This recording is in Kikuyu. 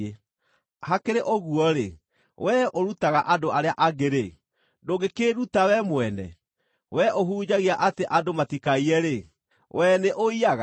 hakĩrĩ ũguo-rĩ, wee ũrutaga andũ arĩa angĩ-rĩ, ndũngĩkĩĩruta wee mwene? Wee ũhunjagia atĩ andũ matikaiye-rĩ, wee nĩũiyaga?